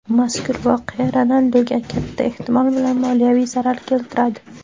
Mazkur voqea Ronalduga, katta ehtimol bilan, moliyaviy zarar keltiradi.